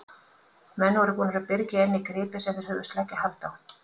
Menn voru búnir að byrgja inni gripi sem þeir hugðust leggja hald á.